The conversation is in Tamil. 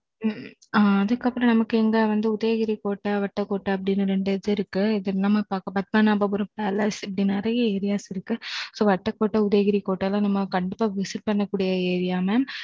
அதுக்கு அப்பறம், நமக்கு இந்த வந்து, உதயகிரி கோட்டை, வட்டக்கோட்டை அப்படின்னு ரெண்டு இது இருக்கு இது பத்மநாபபுரம் palace இப்படி நிறைய areas இருக்கு. so வட்டக்கோட்ட, உதயகிரி கோட்டை ல, நம்ம கண்டிப்பா visit பண்ணக்கூடிய area ங்க.